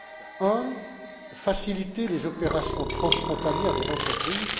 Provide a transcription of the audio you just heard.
Premièrement, faciliter les opérations transfrontalières des entreprises.